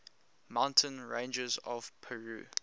mountain ranges of peru